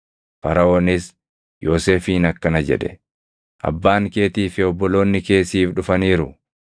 Faraʼoonis Yoosefiin akkana jedhe; “Abbaan keetii fi obboloonni kee siif dhufaniiru;